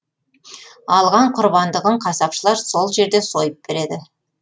алған құрбандығын қасапшылар сол жерде сойып береді